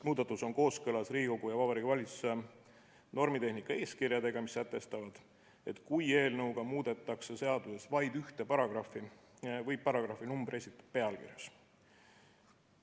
Muudatus on kooskõlas Riigikogu ja Vabariigi Valitsuse normitehnika eeskirjadega, mis sätestavad, et kui eelnõuga muudetakse seaduses vaid ühte paragrahvi, võib paragrahvi numbri esitada pealkirjas.